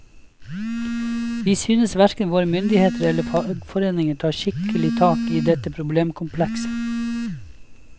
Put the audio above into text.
Vi synes hverken våre myndigheter eller fagforeninger tar skikkelig tak i dette problemkomplekset.